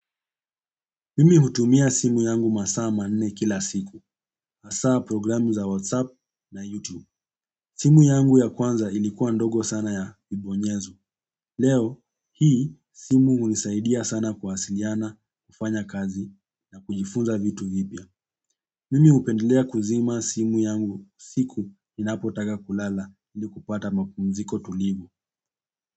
Mimi hutumia simu yangu masaa manne kila siku. Hasa programu za WhatsApp na YouTube. Simu yangu ya kwanza ilikuwa ndogo sana ya kibonyezo. Leo hii simu hunisaidia sana kuwasiliana, kufanya kazi na kujifunza vitu vipya. Mimi hupendelea kuzima simu yangu siku, ninapotaka kulala ili kupata mapumziko tulivu.